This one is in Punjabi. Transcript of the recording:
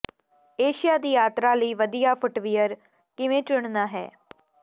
ਏਸ਼ੀਆ ਦੀ ਯਾਤਰਾ ਲਈ ਵਧੀਆ ਫੁੱਟਵੀਅਰ ਕਿਵੇਂ ਚੁਣਨਾ ਹੈ